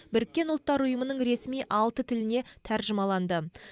біріккен ұлттар ұйымының ресми алты тіліне тәржімаланды